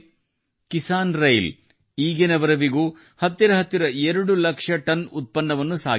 ಕಿಸಾನ್ರೈಲ್ ಈಗಿನವರೆಗೂ ಹತ್ತಿರಹತ್ತಿರ 2 ಲಕ್ಷಟನ್ ಉತ್ಪನ್ನವನ್ನು ಸಾಗಿಸಿದೆ